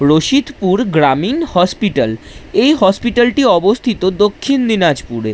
রশিদপুর গ্রামীণ হসপিটাল এই হসপিটাল টি অবস্থিত দক্ষিণ দিনাজপুরে।